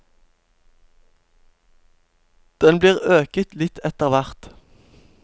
Den blir øket litt etter hvert.